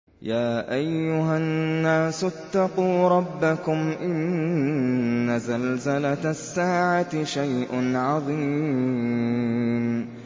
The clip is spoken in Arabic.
يَا أَيُّهَا النَّاسُ اتَّقُوا رَبَّكُمْ ۚ إِنَّ زَلْزَلَةَ السَّاعَةِ شَيْءٌ عَظِيمٌ